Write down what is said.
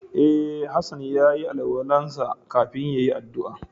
E, Hassan ya yi alwala'n sa kafin ya yi addu'a.